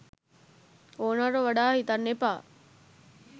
ඕනවට වඩා හිතන්න එපා.